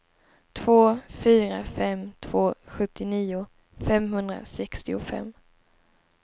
två fyra fem två sjuttionio femhundrasextiofem